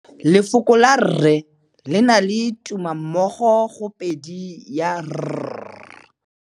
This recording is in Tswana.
Lefoko la rre le na le tumammogôpedi ya, r.